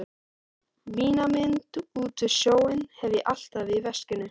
Mína mynd út við sjóinn hef ég alltaf í veskinu.